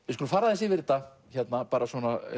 við skulum fara aðeins yfir þetta bara